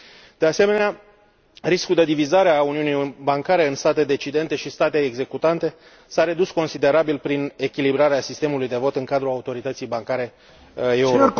De asemenea, riscul de divizare a uniunii bancare în state decidente și state executante s a redus considerabil prin echilibrarea sistemului de vot în cadrul autorității bancare europene.